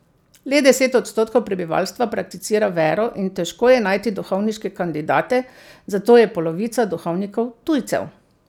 Le deset odstotkov prebivalstva prakticira vero in težko je najti duhovniške kandidate, zato je polovica duhovnikov tujcev.